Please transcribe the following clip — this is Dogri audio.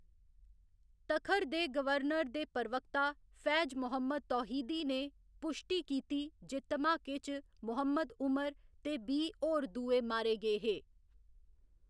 तखर दे गवर्नर दे प्रवक्ता फैज मोहम्मद तौहीदी ने पुश्टी कीती जे धमाके च मोहम्मद उमर ते बीह्‌ होर दुए मारे गे हे।